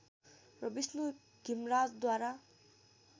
र विष्णु घिमराजद्वारा